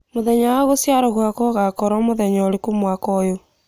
mūthenya wa guciarwo gwakwa ūgakorwo muthenya ūriku mwaka ūyu